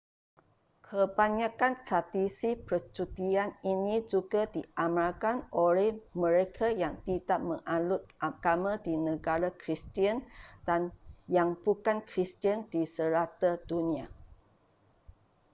kebanyakan tradisi percutian ini juga diamalkan oleh mereka yang tidak menganut agama di negara kristian dan yang bukan kristian di serata dunia